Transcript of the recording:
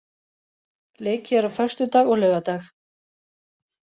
Leikið er á föstudag og laugardag.